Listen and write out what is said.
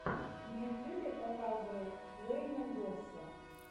в ютюбе показывай уэйна госса